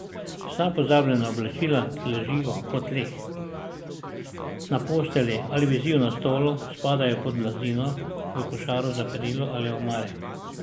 Vsa pozabljena oblačila, ki ležijo po tleh, na postelji ali visijo na stolu, spadajo pod blazino, v košaro za perilo ali v omare.